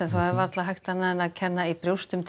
það er varla hægt annað en að kenna í brjósti um